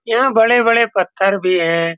यहाँ बड़े-बड़े पत्थर भी है।